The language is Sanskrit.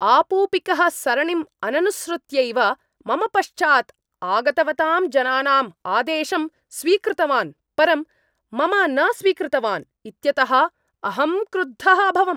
आपूपिकः सरणिम् अननुसृत्यैव मम पश्चात् आगतवतां जनानां आदेशं स्वीकृतवान् परं मम न स्वीकृतवान् इत्यतः अहम् क्रुद्धः अभवम् ।